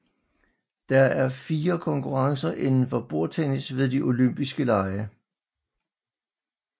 Der er fire konkurrencer indenfor bordtennis ved de olympiske lege